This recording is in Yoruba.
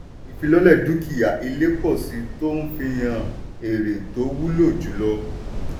ìfilọ́lẹ̀ dúkìá-ilé pọ̀ síi tó ń fihan èrè tó wúlò jùlọ.